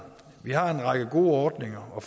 vi har en række gode ordninger og